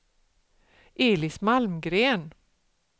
Elis Malmgren